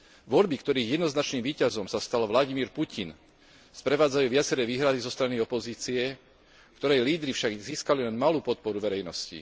Voľby, ktorých jednoznačným víťazom sa stal Vladimír Putin, sprevádzajú viaceré výhrady zo strany opozície, ktorej lídri však získali len malú podporu verejnosti.